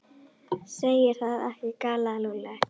Segir það ekki? galaði Lúlli.